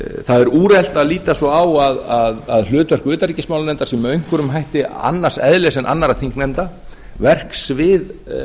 það er úrelt að líta svo á að hlutverk utanríkismálanefndar sé með einhverjum hætti annars eðlis en annarra þingnefnda verksvið